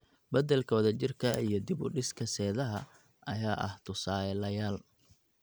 Beddelka wadajirka ah iyo dib u dhiska seedaha ayaa ah tusaalayaal.